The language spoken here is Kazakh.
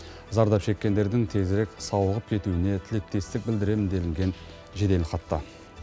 зардап шеккендердің тезірек сауығып кетуіне тілектестік білдіремін делінген жеделхатта